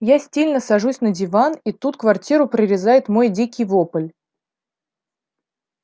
я стильно сажусь на диван и тут квартиру прорезает мой дикий вопль